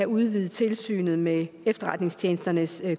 udvider tilsynet med efterretningstjenesternes